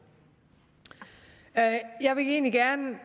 jeg vil egentlig gerne